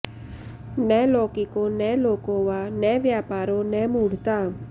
न लौकिको न लोकोवा न व्यापारो न मूढता